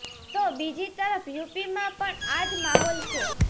તો બીજી તરફ યુપીમાં પણ આ જ માહોલ છે